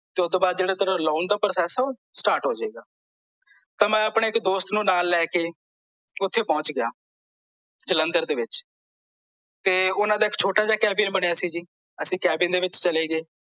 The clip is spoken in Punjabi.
ਤੇ ਓਹਤੋਂ ਬਾਅਦ ਜਿਹੜੇ ਤੇਰੇ loan ਦਾ process ਓਹ start ਹੋਜੇਗਾ ਤਾਂ ਮੈਂ ਆਪਣੇ ਇੱਕ ਦੋਸਤ ਨੂੰ ਨਾਲ ਲੈ ਕੇ ਓਥੇ ਪਹੁੰਚ ਗਿਆ ਜਲੰਧਰ ਦੇ ਵਿੱਚ ਤੇ ਓਹਨਾਂ ਦਾ ਇੱਕ ਛੋਟਾ ਜਿਹਾ ਕੈਬਿਨ ਬਣਿਆ ਸੀ ਜੀ ਅਸੀਂ ਕੈਬਿਨ ਦੇ ਵਿੱਚ ਚਲੇ ਗਏ